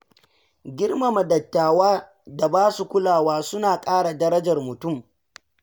Girmama dattawa da ba su kulawa suna ƙara darajar mutum.